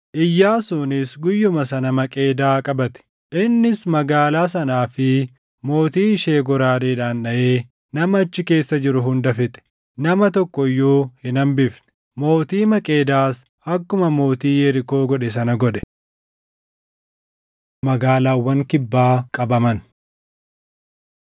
Iyyaasuunis guyyuma sana Maqeedaa qabate. Innis magaalaa sanaa fi mootii ishee goraadeedhaan dhaʼee nama achi keessa jiru hunda fixe. Nama tokko iyyuu hin hambifne. Mootii Maqeedaas akkuma mootii Yerikoo godhe sana godhe. Magaalaawwan Kibbaa Qabaman